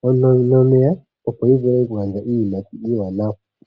nominino dhomeya, opo yi vule okugandja iiyimati iiwanwa.